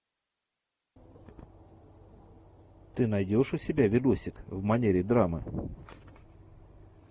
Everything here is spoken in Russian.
ты найдешь у себя видосик в манере драмы